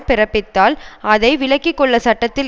பிறப்பித்தால் அதை விலக்கி கொள்ள சட்டத்தில்